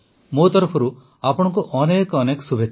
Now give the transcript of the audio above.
ମୋ ତରଫରୁ ଆପଣଙ୍କୁ ଅନେକ ଅନେକ ଶୁଭେଚ୍ଛା